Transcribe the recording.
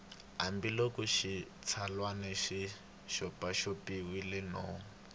hambiloko xitsalwana xi xopaxopiwile no